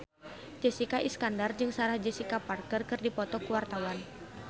Jessica Iskandar jeung Sarah Jessica Parker keur dipoto ku wartawan